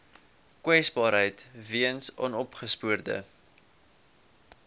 kwesbaarheid weens onopgespoorde